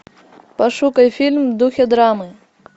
пошукай фильм в духе драмы